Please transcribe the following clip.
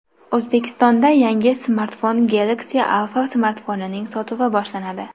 O‘zbekistonda yangi Samsung Galaxy Alpha smartfonining sotuvi boshlanadi.